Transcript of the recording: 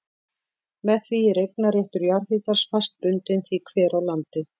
Með því er eignarréttur jarðhitans fast bundinn því hver á landið.